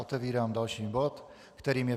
Otevírám další bod, kterým je